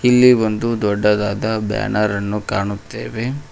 ಇಲ್ಲಿ ಒಂದು ದೊಡ್ಡದಾದ ಬ್ಯಾನರ ನ್ನು ಕಾಣುತ್ತೆವೆ.